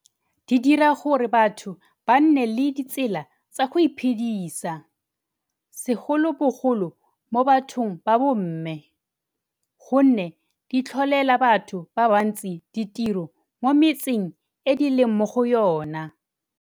Di dira gore batho ba nne le ditsela tsa go iphedisa, segolobogolo mo bathong ba bomme, gonne di tlholela batho ba bantsi ditiro mo metseng e di leng mo go yona.